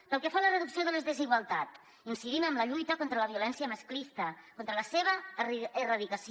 pel que fa a la reducció de les desigualtats incidim en la lluita contra la violència masclista per la seva erradicació